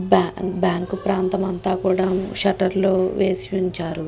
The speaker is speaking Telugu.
బా బ్యాంకు ప్రాంతం అంత కూడా షట్టర్లు వేసి ఉంచారు.